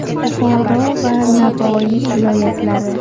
Buxoro va Navoiy viloyatlari.